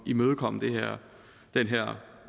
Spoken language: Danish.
imødegå den her